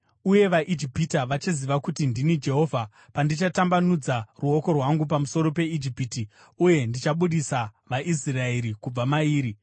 Uye vaIjipita vachaziva kuti ndini Jehovha pandichatambanudza ruoko rwangu pamusoro peIjipiti uye ndichabudisa vaIsraeri kubva mairi.”